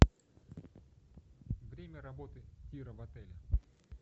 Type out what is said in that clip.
время работы тира в отеле